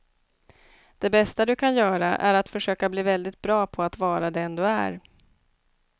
Det bästa du kan göra är att försöka bli väldigt bra på att vara den du är.